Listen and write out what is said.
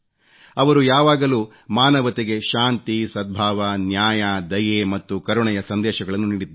ಅವರು ಯಾವಾಗಲೂ ಮಾನವತೆಗೆ ಶಾಂತಿ ಸದ್ಭಾವ ನ್ಯಾಯ ದಯೆ ಮತ್ತು ಕರುಣೆಯ ಸಂದೇಶಗಳನ್ನು ನೀಡಿದ್ದಾರೆ